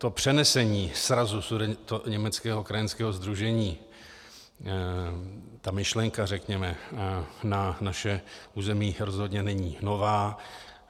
To přenesení srazu Sudetoněmeckého krajanského sdružení, ta myšlenka řekněme, na naše území rozhodně není nová.